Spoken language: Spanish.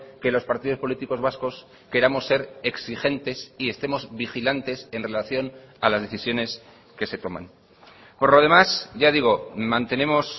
que los partidos políticos vascos queramos ser exigentes y estemos vigilantes en relación a las decisiones que se toman por lo demás ya digo mantenemos